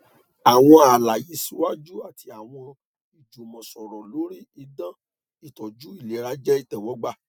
awọn alaye siwaju ati awọn ijumọsọrọ lori idan itọju ilera jẹ itẹwọgba